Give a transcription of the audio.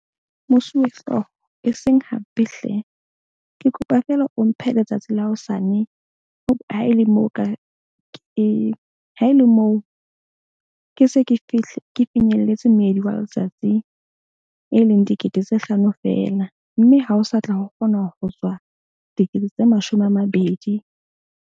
Mosuwehlooho eseng hampe hle. Ke kopa feela o mphe letsatsi la hosane ha e le moo, ka ke ha e le moo ke se ke fihle ke finyelletseng meedi wa letsatsi, e leng dikete tse hlano fela. Mme ha o sa tla kgona ho tswa dikete tse mashome a mabedi.